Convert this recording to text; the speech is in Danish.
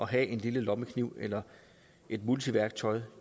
have en lille lommekniv eller et multiværktøj